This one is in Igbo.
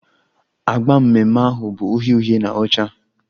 Agba mmemme ahụ bụ uhie uhie na ọcha